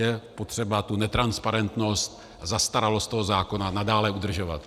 Je potřeba tu netransparentnost, zastaralost toho zákona nadále udržovat.